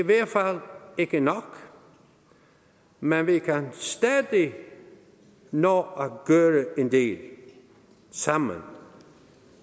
hvert fald ikke nok men vi kan stadig nå at gøre en del sammen